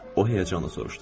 O həyəcanla soruşdu.